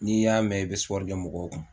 N'i y'a mɛn i bɛ kɛ mɔgɔw kun.